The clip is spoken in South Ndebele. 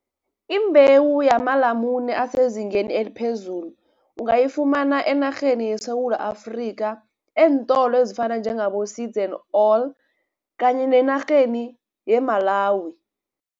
Imbewu yamalamune asezingeni eliphezulu, ungayifumana enarheni yeSewula Afrikha, eentolo ezifana njengabo-Seeds and All kanye nenarheni yeMalawi.